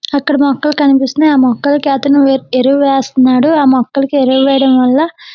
అక్కడ మొక్కలు కనిపిస్తున్నాయి ఆ ఎం మొక్కలకు అతను ఎరువు వస్తున్నారు ఆ మొక్కలకు ఎరువు వెయ్యడం వాళ్ళ పురుగు --